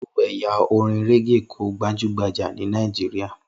Irú ẹ̀yà orin régè kò gbajúmọ̀ ní Nàìjíríyà